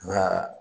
Nka